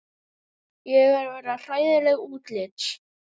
Ég er að verða hræðileg útlits.